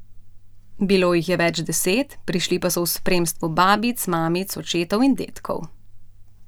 Bilo jih je več deset, prišli pa so v spremstvu babic, mamic, očetov in dedkov.